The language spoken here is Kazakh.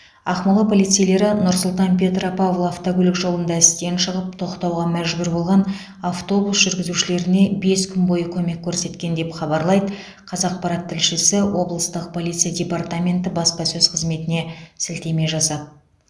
ақмола полицейлері нұр сұлтан петропавл автокөлік жолында істен шығып тоқтауға мәжбүр болған автобус жүргізушілеріне бес күн бойы көмек көрсеткен деп хабарлайды қазақпарат тілшісі облыстық полиция департаменті баспасөз қызметіне сілтеме жасап